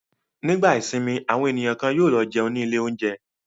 Nígbà ìsìnmi àwọn ènìyàn kan yóò lọ jẹun ní ilé-oúnjẹ.